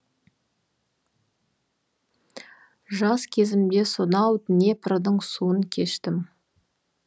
жас кезімде сонау днепрдің суын кештім